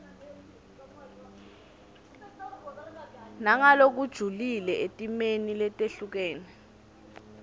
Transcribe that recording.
nangalokujulile etimeni letehlukene